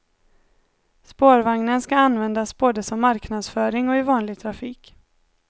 Spårvagnen ska användas både som marknadsföring och i vanlig trafik.